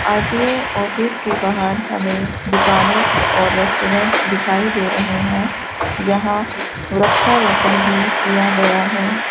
RTO office के बाहर हमें दुकाने और रेस्टोरेंट दिखाई दे रहे हैं यहां वृक्षारोपण भी किया गया है।